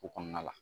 O kɔnɔna la